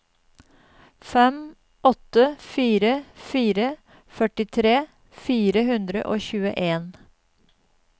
fem åtte fire fire førtitre fire hundre og tjueen